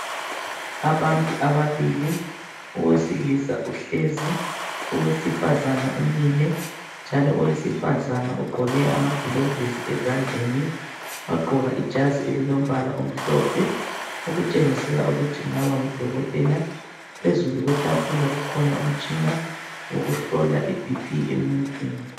Abantu ababili, owesilisa uhlezi, owesifazana umile. Njalo owesifazana ugqoke amagilovisi ezandleni njalo wagqoka ijazi elilombala omhlophe okutshengisela ukuthi kungaba ngudokotela. Phezulu kwetafula kukhona umtshina wokuhlola i BP emuntwini.